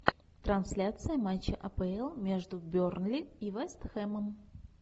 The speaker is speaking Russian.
трансляция матча апл между бернли и вест хэмом